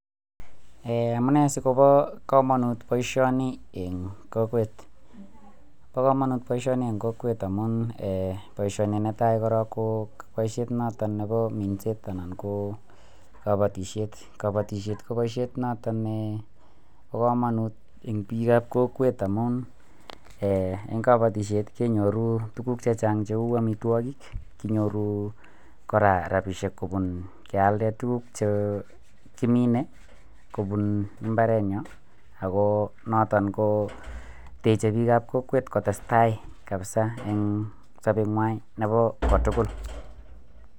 um Amune sikobo kamanut boisioni eng kokwet, bo kamanut boisioni eng kokwet amun um boisioni ne tai korok ko boisiet noto ne bo minset anan ko kabatisiet, kabatisiet ko boisiet noto ne bo kamanut eng piikab kokwet amun, um eng kabatisiet kenyoru tukuk che chang cheu amitwogik, kinyoru kora rabiisiek kobun kealde tukuk che kimine kobun mbarenyo, ako noton ko techei piikab kokwet kotestai kabisa eng sobengwai nebo kotugul.